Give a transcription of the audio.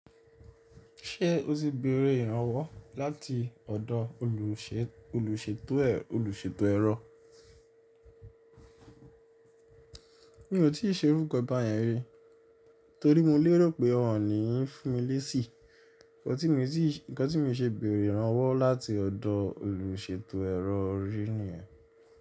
Ṣé o ti beèrè ìrànwọ́ láti ọ̀dọ̀ olùṣètò ẹrọ? Mio ti ṣe irú ǹkan báyẹn rí torí mo lérò pé wọn ò ní fúnmi lésì, ǹkan tí mii ń ti ǹkan tí mio ṣe bèerè ìrànwọ́ láti ọ̀dọ̀ olùṣètò ẹrọ rí nìyẹn.